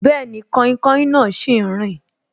Bẹẹni, kainkain náà sì ń rin